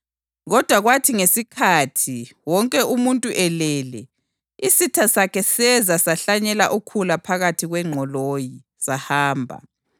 Kodwa kwathi ngesikhathi wonke umuntu elele, isitha sakhe seza sahlanyela ukhula phakathi kwengqoloyi, sahamba.